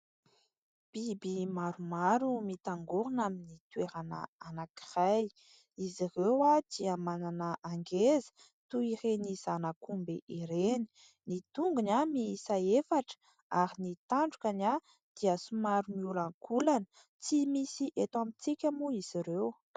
Biby maromaro mitangorana amin'ny toerana anankiray. Izy ireodia manana angeza toy ireny zanak'omby ireny ny tongony miisa efatra ary ny tandroka dia somary miolankolana. Tsy misy eto amintsika moa izy ireo.